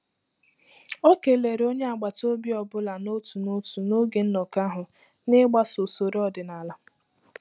Ọ kelere onye agbata obi ọ bụla n'otu n'otu n'oge nnọkọ ahụ, n'igbaso usoro ọdịnala.